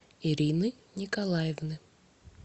ирины николаевны